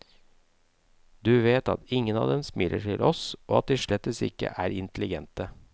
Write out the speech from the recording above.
Du vet at ingen av dem smiler til oss, og at de slettes ikke er intelligente.